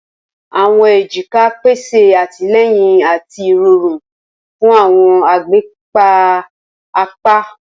Awọn ejika pese atilẹyin ati irọrun fun awọn agbeka apa.